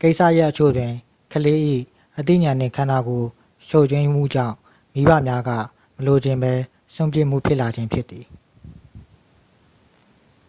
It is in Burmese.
ကိစ္စရပ်အချို့တွင် ကလေး၏ အသိဉာဏ်နှင့် ခန္ဓာကိုယ်ချို့ယွင်းမှုကြောင့် မိဘများက မလိုချင်ဘဲ စွန့်ပစ်မှုဖြစ်လာခြင်းဖြစ်သည်။